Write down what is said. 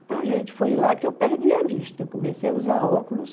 Então, a gente foi lá que eu perdi a vista, comecei a usar óculos,